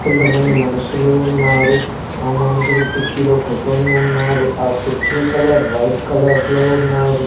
కొంతమంది మనుషులు ఉన్నారు ఆ మునుషులు కుర్చీలో కుర్సీనీ ఉన్నారు ఆ కుర్చీ కలర్ వైట్ లో ఉన్నాది.